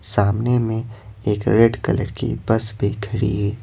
सामने में एक रेड कलर की बस भी खड़ी है।